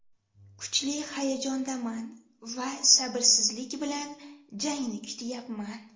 Kuchli hayajondaman va sabrsizlik bilan jangni kutyapman.